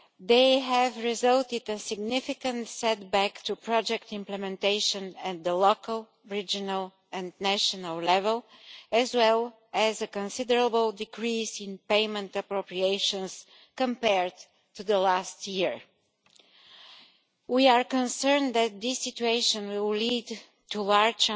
They have resulted in significant setbacks to project implementation at local, regional and national level, as well as a considerable decrease in payment appropriations compared to last year. We are concerned that this situation will lead to high